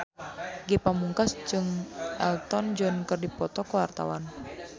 Ge Pamungkas jeung Elton John keur dipoto ku wartawan